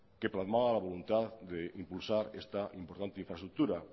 que plasmaba la voluntad de impulsar esta importante infraestructura